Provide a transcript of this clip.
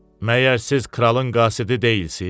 Məyər siz kralın qasidi deyilsiz?